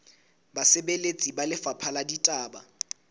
basebeletsi ba lefapha la ditaba